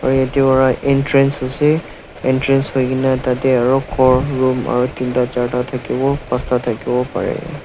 aru yatae vara entrance ase entrance hoikaena tatae khor room aru teen ta charta thakiwo phansta thakiwo parae.